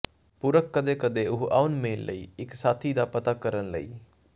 ਪੁਰਖ ਕਦੇ ਕਦੇ ਉਹ ਆਉਣ ਮੇਲ ਲਈ ਇੱਕ ਸਾਥੀ ਦਾ ਪਤਾ ਕਰਨ ਲਈ